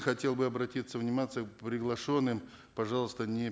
хотел бы обратиться приглашенным пожалуйста не